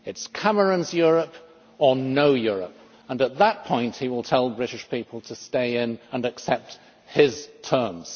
It is Cameron's Europe or no Europe, and at that point he will tell the British people to stay in and accept his terms.